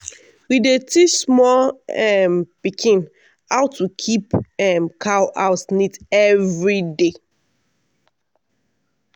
we dey teach small um pikin how to keep um cow house neat every day.